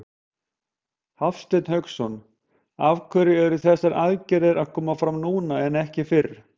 Hafsteinn Hauksson: Af hverju eru þessar aðgerðir að koma fram núna en ekki fyrr?